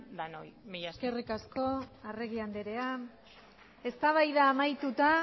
danoi mila esker eskerrik asko arregi andrea eztabaida amaituta